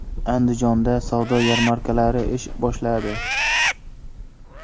Andijonda savdo yarmarkalari ish boshladi.